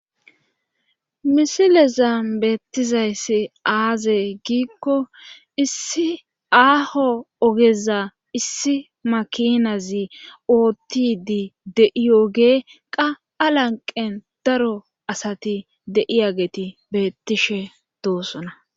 misilezam beettizayssi aaze giikko issi aaho ogeza issi makinazi oottidi de7iyogee qa a lanqen daro asati de7iyageti beettishe doosona